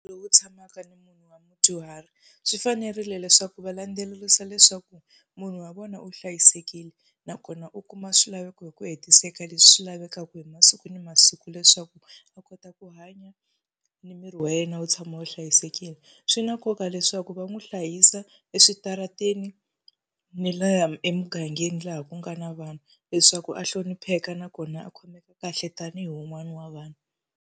Tshamaka ni munhu wa mudyuhari, swi fanerile leswaku va landzelerisa leswaku munhu wa vona u hlayisekile nakona u kuma swilaveko hi ku hetiseka leswi swi lavekaka hi masiku na masiku leswaku a kota ku hanya ni miri wa yena wu tshama wu hlayisekile. Swi na nkoka leswaku va n'wi hlayisa eswitarateni ni laha emugangeni laha ku nga na vanhu, leswaku a hlonipheka nakona a khomeka kahle tanihi wun'wana wa vanhu.